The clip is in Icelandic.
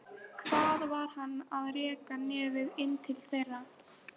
Hvað var hann að reka nefið inn til þeirra?